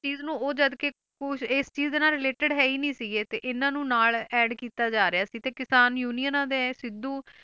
ਚੀਜ਼ ਨੂੰ ਉਹ ਜਦਕਿ ਕੁਛ ਇਸ ਚੀਜ਼ ਦੇ ਨਾਲ related ਹੈ ਹੀ ਨੀ ਸੀਗੇ ਤੇ ਇਹਨਾਂ ਨੂੰ ਨਾਲ add ਕੀਤਾ ਜਾ ਰਿਹਾ ਸੀ ਤੇ ਕਿਸਾਨ ਯੂਨੀਅਨਾਂ ਨੇ ਸਿੱਧੂ